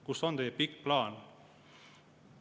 Kus on teie pikk plaan?